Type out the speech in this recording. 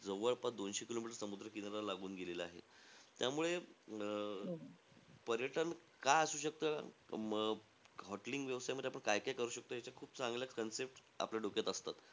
जवळपास दोनशे kilometer समुद्र किनारा लागून गेलेला आहे. त्यामुळे अं पर्यटन का असू शकतं? अं hoteling व्यवसायामध्ये आपण काय काय करू शकतो, याच्या खूप चांगल्या concepts आपल्या डोक्यात असतात.